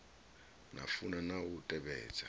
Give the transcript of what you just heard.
na funa na u tevhedza